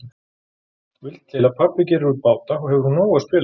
Vill til að pabbi gerir út báta og hefur úr nógu að spila.